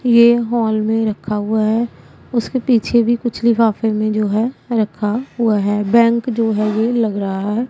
ये हॉल में रखा हुआ है उसके पीछे भी कुछ लिखाफे में जो है रखा हुआ है बैंक जो है ये लग रहा है।